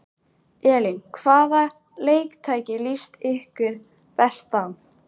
Elín: Hvaða leiktæki líst ykkur best á?